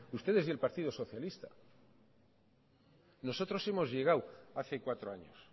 ustedes y el partido socialista nosotros hemos llegado hace cuatro años